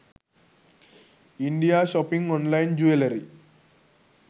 india shopping online jewellery